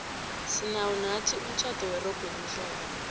sinawo nathi umtjhado werogo elimhlophe